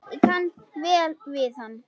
Ég kann vel við hana.